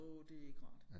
Åh det ikke rart